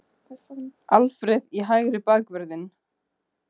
Alfreð í hægri bakvörðinn?